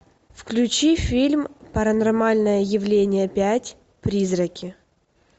включи фильм паранормальное явление пять призраки